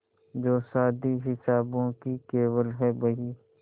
जो शादी हिसाबों की केवल है बही